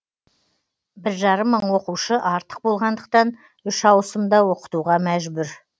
бір жарым мың оқушы артық болғандықтан үш ауысымда оқытуға мәжбүр